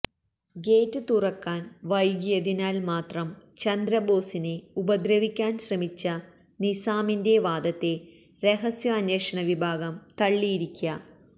gate തുറക്കാൻ വൈകിയതിനാൽ മാത്രം ചന്ദ്രബോസിനെ ഉപദ്രവിക്കാൻ ശ്രമിച്ചെന്ന നിസാമിന്റെ വാദത്തെ രഹസ്യാന്വേഷണ വിഭാഗം തള്ളിയിരിക